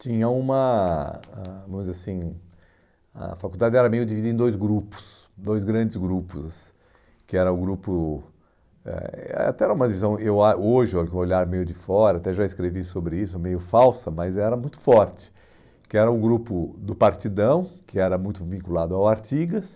Tinha uma, ãh vamos dizer assim, a faculdade era meio dividida em dois grupos, dois grandes grupos, que era o grupo, eh é até era uma divisão, eu ãh hoje, com o olhar meio de fora, até já escrevi sobre isso, meio falsa, mas era muito forte, que era o grupo do Partidão, que era muito vinculado ao Artigas,